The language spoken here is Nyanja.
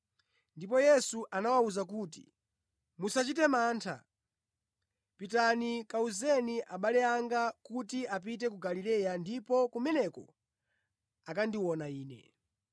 Ndipo Yesu anawawuza kuti, “Musachite mantha, pitani kawuzeni abale anga kuti apite ku Galileya ndipo kumeneko akandiona Ine.”